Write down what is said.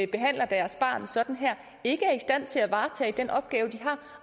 behandler deres barn sådan her ikke er i stand til at varetage den opgave de har